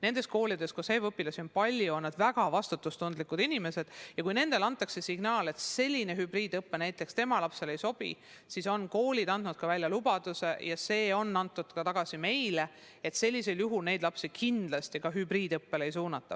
Nendes koolides, kus õpilasi on palju, on nad väga vastutustundlikud inimesed ja kui nendeni jõuab mõne lapsevanema signaal, et hübriidõpe tema lapsele ei sobi, siis on koolid andnud lubaduse – seda ka meile –, et neid lapsi kindlasti hübriidõppele ei suunata.